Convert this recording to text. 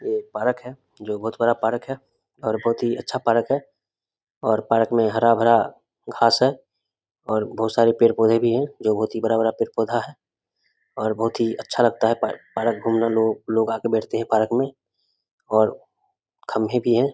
ये एक पार्क है जो बोहोत बड़ा पार्क है और बोहोत ही अच्छा पार्क है और पार्क में हरा-भरा घास है और बोहोत सारे पेड़-पौधे भी हैं जो बोहोत ही बड़ा-बड़ा पेड़-पौधा भी है और बोहोत ही अच्छा लगता है पार्क पार्क घूमने में लोग आ कर बैठते है पार्क में और खम्भे भी हैं।